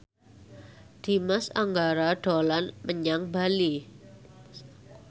Dimas Anggara dolan menyang Bali